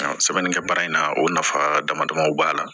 Sɛbɛnnikɛ baara in na o nafa dama damaw b'a la